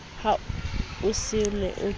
ha o se o kene